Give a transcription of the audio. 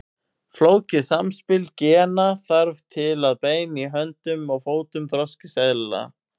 Flókið samspil gena þarf til að bein í höndum og fótum þroskist eðlilega.